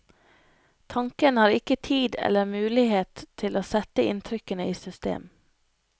Tanken har ikke tid eller mulighet til å sette inntrykkene i system.